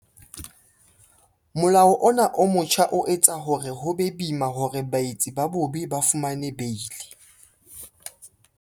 Molao ona o motjha o etsa hore ho be boima hore baetsi ba bobe ba fumane beili.